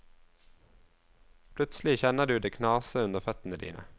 Plutselig kjenner du det knase under føttene dine.